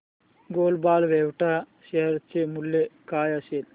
global Vectra share चे मूल्य काय असेल